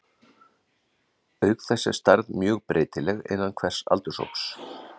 Auk þess er stærð mjög breytileg innan hvers aldurshóps.